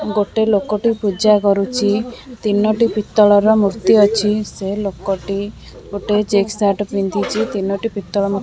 ଗୋଟେ ଲୋକଟି ପୂଜା କରୁଚି ତିନୋଟି ପିତ୍ତଳର ମୂର୍ତ୍ତି ଅଛି ସେ ଲୋକଟି ଗୋଟେ ଚେକ୍ ସାର୍ଟ ପିନ୍ଧିଚି ତିନୋଟି ପିତଳ ମୂ--